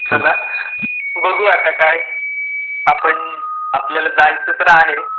चला बघू आता काय, आपण आपल्याला जायचं तर आहे,